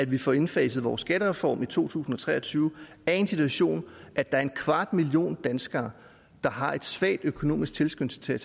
vi får indfaset vores skattereform i to tusind og tre og tyve er i en situation at der er en kvart million danskere der har en svag økonomisk tilskyndelse til at